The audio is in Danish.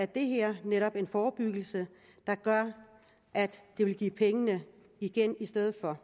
det her netop en forebyggelse der gør at det vil give pengene igen i stedet for